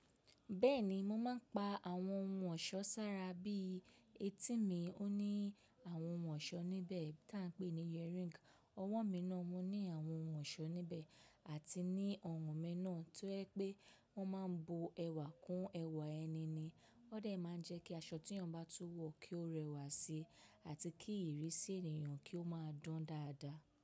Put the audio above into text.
Bẹ́ẹ̀ni, mo má ń pa àwọn ohun ọ̀ṣọ́ sára bí i etí mi ó ní àwọn ohun ọ̀ṣọ́ níbẹ̀ tà ń pè ní earring, ọwọ́ mi náà mó ní àwọn ohun ọ̀ṣọ́ níbẹ̀ àti ní ọrùn mí náà, tó ẹ pé wọ́n máa ń bu ẹwà kún ẹwà ẹni ni. Ó dẹ̀ má ń jẹ́ kí aṣọ tí èyàn bá tú wọ̀ kí ó rẹwà síi àti kí ìrísí ènìyàn kí ó máa dan dáadáa.